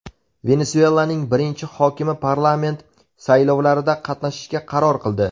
Venesuelaning birinchi xonimi parlament saylovlarida qatnashishga qaror qildi.